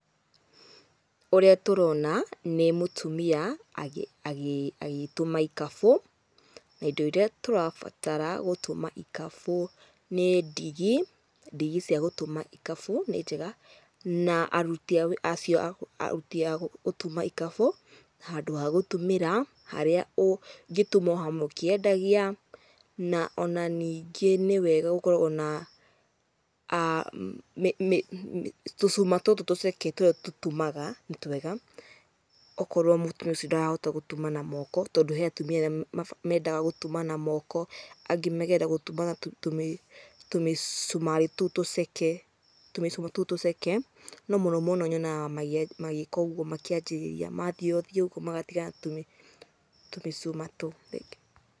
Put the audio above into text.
Ũrĩa tũrona nĩ mũtumia agĩtuma ikabũ, na indo iria tũrabatara gũtuma ikabũ nĩ ndigi, ndigi cia gũtuma ikabũ, nĩ njega, na aruti a gũtuma ikabũ, handũ ha gũtumĩra mũgĩtuma hau mũkĩendagia. Na ningĩ nĩwega gũkoragwo na tũcuma tũtũ tũceke nĩ tũtumaga, okorwo mũtumia ũcio ndarahota gũtuma na moko. Hena atumi mendaga gũtuma na moko, makenda gũtumaga na tũmĩcumarĩ tũu tũceke, no mũno mũno nyonaga magĩka ũguo makĩambĩrĩria, mathia thia ũguo magatigana na kũmĩcuma tũu. Thengiũ.